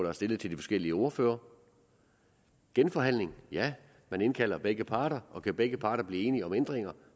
har stillet til forskellige ordførere genforhandling ja man indkalder begge parter og kan begge parter blive enige om ændringer